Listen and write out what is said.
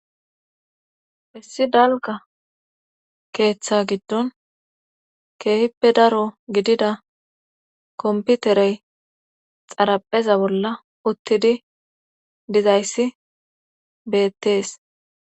issi dalga keeththa giddon keehippe daro gidida komputerey xarapheza bolla uttidi dizayssi beettees